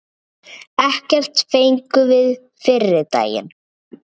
Ekkert fengum við fyrri daginn.